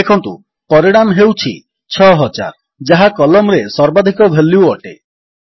ଦେଖନ୍ତୁ ପରିଣାମ ହେଉଛି 6000 ଯାହା କଲମ୍ ରେ ସର୍ବାଧିକ ଭାଲ୍ୟୁ ଅଟେ